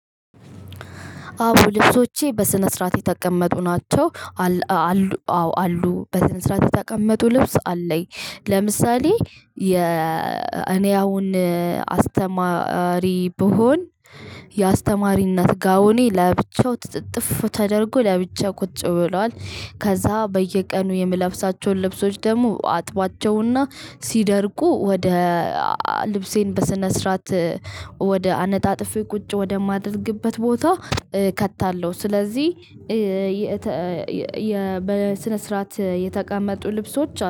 አዎ ልብሶቼ በስነ ስርዓት የተቀመጡ ናቸው። አሉ አዎ አሉ በስነ ስርዓት የተቀመጡ ልብስ አለኝ። ለምሳሌ የ እኔ አሁን አስተማሪ ብሆን የአስተማሪነት ጋውኔ ለብቻው ትጥጥፍ ተደርጎ ለብቻ ቁጭ ብሏል። ከዛ በየቀኑ የምለብሳቸውን ልብሶች ደግሞ አጥባቸውና ሲደርቁ ወደ ልብሴን በስነ ስርዓት ወደ አነጣጥፌ ቁጭ ወደማደርግበት ቦታ። ከታለው ስለዚህ በስነ ስርዓት የተቀመጡ ልብሶች